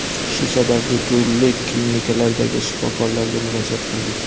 Shu sababli turli klinikalardagi shifokorlarga murojaat qildik.